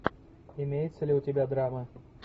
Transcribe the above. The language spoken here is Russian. имеется ли у тебя драма